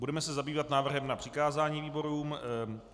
Budeme se zabývat návrhem na přikázání výborům.